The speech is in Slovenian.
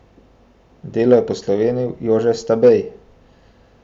Delo je poslovenil Jože Stabej.